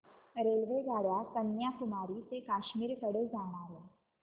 रेल्वेगाड्या कन्याकुमारी ते काश्मीर कडे जाणाऱ्या